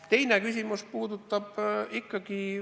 Teine küsimus puudutab palku.